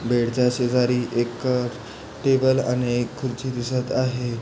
Bed च्या शेजारी एक टेबल आणि एक खुर्ची दिसत आहे.